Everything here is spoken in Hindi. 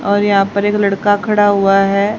और यहां पर एक लड़का खड़ा हुआ है।